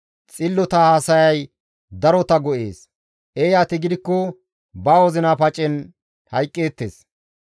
Xillota haasayay darota go7ees; eeyati gidikko ba wozina pacen hayqqeettes.